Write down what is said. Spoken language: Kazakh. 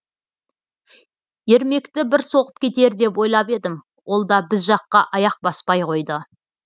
ермекті бір соғып кетер деп ойлап едім олда біз жаққа аяқ баспай қойды